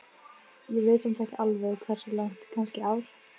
Ég veit samt ekki alveg hversu langt, kannski ár?